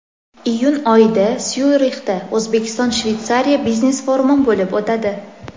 Iyun oyida Syurixda O‘zbekiston-Shveysariya biznes-forumi bo‘lib o‘tadi.